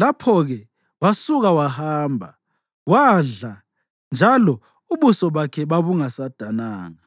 Lapho-ke wasuka wahamba, wadla, njalo ubuso bakhe babungasadananga.